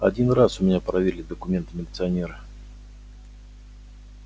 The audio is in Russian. один раз у меня проверили документы милиционеры